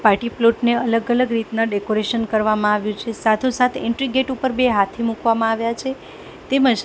party plot ને અલગ અલગ રીતના ડેકોરેશન કરવામાં આવ્યું છે સાથોસાથ એન્ટ્રી ગેટ ઉપર બે હાથી મૂકવામાં આવ્યા છે તેમજ--